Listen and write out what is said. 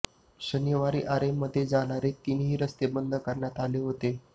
शनिवारी आरेमध्ये जाणारे तिन्ही रस्ते बंद करण्यात आले होते